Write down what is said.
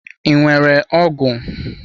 I nwere ọgụ?